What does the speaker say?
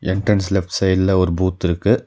Entrance left சைடுல ஒரு booth இருக்கு.